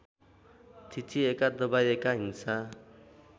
थिचिएका दबाइएका हिंसा